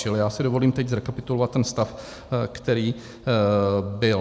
Čili já si dovolím teď zrekapitulovat ten stav, který byl.